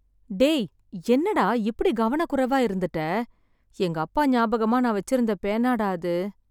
டேய்! என்ன டா இப்படி கவனக்குறைவா இருந்துட்ட. எங்க அப்பா ஞாபகமா நான் வெச்சிருந்த பேனா டா அது.